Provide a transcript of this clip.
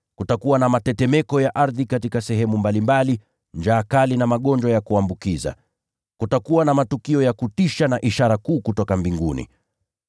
Kutakuwa na mitetemeko mikubwa ya ardhi, na njaa kali, na magonjwa ya kuambukiza katika sehemu mbalimbali. Pia kutakuwa na matukio ya kutisha na ishara kuu kutoka mbinguni.